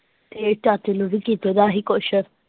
ਤੇ ਚਾਚੇ ਨੂੰ ਵੀ ਕੀਤਾ ਦਾ ਸੀ ਕੁਝ।